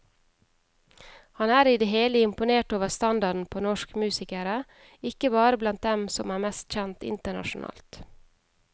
Han er i det hele imponert over standarden på norsk musikere, ikke bare blant dem som er mest kjent internasjonalt.